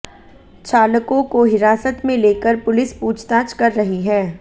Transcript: चालकों को हिरासत में लेकर पुलिस पूछताछ कर रही है